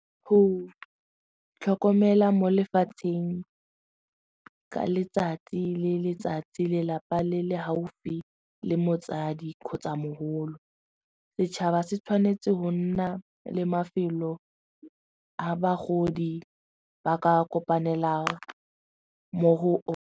Go tlhokomela mo lefatsheng ka letsatsi le letsatsi lelapa le le gaufi le motsadi kgotsa mogolo, setšhaba se tshwanetse go nna le mafelo a bagodi ba ka kopanela mo go one.